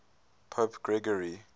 pope gregory